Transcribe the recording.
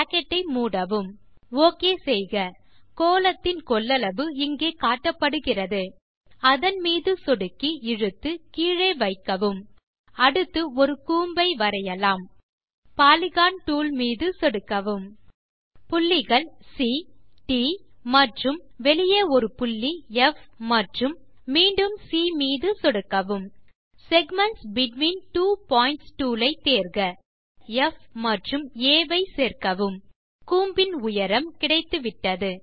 bracket ஐ மூடவும் okay செய்க கோளத்தின் கொள்ளளவு இங்கே காட்டப்படுகிறது அதன் மீது சொடுக்கி இழுத்து கீழே வைக்கவும் அடுத்து ஒரு கூம்பை வரையலாம் பாலிகன் toolமீது சொடுக்கவும் புள்ளிகள் சி ட் மற்றும் வெளியே ஒரு புள்ளி ப் மற்றும் மீண்டும் சி மீது சொடுக்கவும் segments between two points tool ஐ தேர்க புள்ளிகள் ப் மற்றும் ஆ ஐ சேர்க்கவும் கூம்பின் உயரம் கிடைத்துவிட்டது